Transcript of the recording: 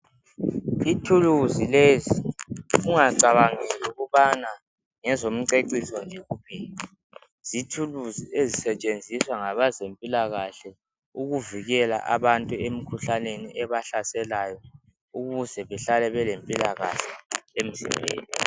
Ithuluzi lezi ungacabangeli ukubana ngezomceciso nje kuphela zithuluzi ezisetshenziswa ngabezempilakahle ukuvikela abantu emkhuhlaneni ebahlaselayo ukuze behlale belempilakahle emzimbeni.